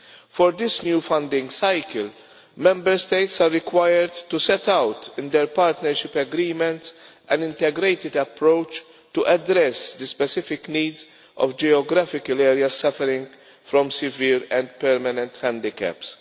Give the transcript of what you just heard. For this new funding cycle, Member States are required to set out in their partnership agreements an integrated approach to address the specific needs of geographical areas suffering from severe and permanent handicaps.